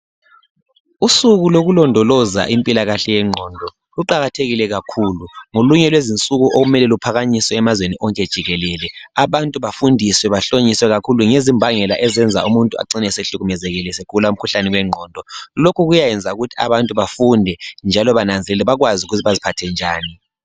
Usuku lokulondoloza impilakahle yengqondo kuqakathekile kakhulu , ngolunye lwezinsuku okumele luphakanyiswe emazweni onke jikelele , abantu bafundiswe bahlonyiswe kakhulu ngezimbangela ezenza umuntu acine sehlukumezekile segula umkhuhlane wengqondo , lokhu kuyayenza ukuthi abantu bafunde njalo bananzelele bekwazi ukuthi beziphathe njani